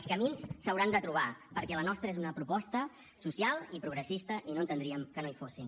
els camins s’hauran de trobar perquè la nostra és una proposta social i progressista i no entendríem que no hi fossin